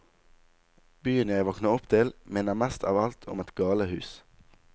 Byen jeg våkner opp til, minner mest av alt om et galehus.